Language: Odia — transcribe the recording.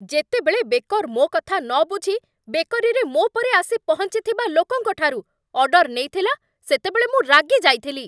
ଯେତେବେଳେ ବେକର୍ ମୋ କଥା ନବୁଝି ବେକରୀରେ ମୋ ପରେ ଆସି ପହଞ୍ଚିଥିବା ଲୋକଙ୍କଠାରୁ ଅର୍ଡର୍ ନେଇଥିଲା, ସେତେବେଳେ ମୁଁ ରାଗିଯାଇଥିଲି।